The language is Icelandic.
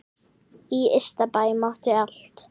Í Ystabæ mátti allt.